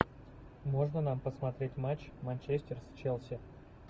можно нам посмотреть матч манчестер с челси